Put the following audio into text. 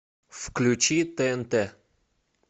включи тнт